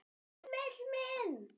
Emil minn!